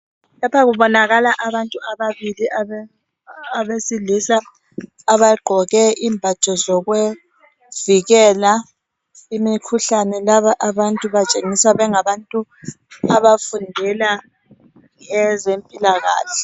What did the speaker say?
Lapha kubonakala abantu ababili abesilisa abagqoke imbatho zokuvikela imikhuhlane laba abantu batshengisa kungabantu abafundela ezempilakahle.